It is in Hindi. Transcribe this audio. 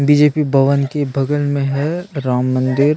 बीजेपी भवन के बगल में है राम मंदिर --